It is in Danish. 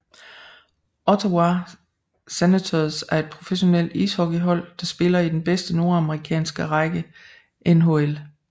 Ottawa Senators er et professionelt ishockeyhold der spiller i den bedste nordamerikanske række NHL